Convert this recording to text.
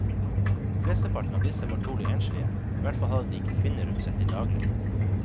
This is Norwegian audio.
Flesteparten av disse var trolig enslige, ihvertfall hadde de ikke kvinner rundt seg til daglig.